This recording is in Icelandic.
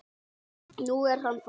Nú er hann farinn.